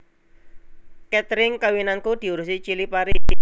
Katring kawinanku diurusi Chilipari